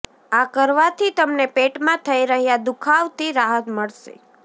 આ કરવાથી તમને પેટમાં થઈ રહ્યા દુખાવથી રાહત મળશે